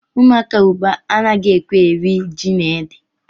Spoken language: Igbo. Ụmụaka ugbu a anaghị ekwe eri ji na ede